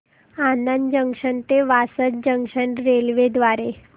Anand junction ते Vasad junction railway द्वारे